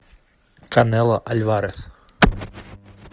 канело альварес